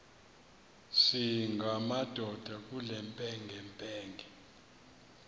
singamadoda kule mpengempenge